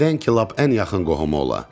Nədən ki, lap ən yaxın qohumu ola.